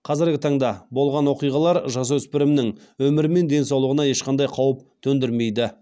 қазіргі таңда болған оқиғалар жасөсіпірімнің өмірі мен денсаулығына ешқандай қауіп төндірмейді